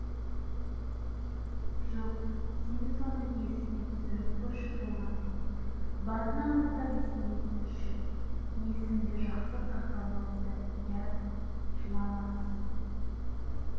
жоқ сен соны есіңе түсіріп көрші толғанай басынан бастап есіңе түсірші есімде жақсы сақталмапты иә жыламасын